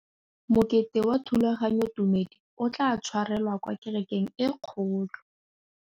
Mokete wa thulaganyôtumêdi o tla tshwarelwa kwa kerekeng e kgolo.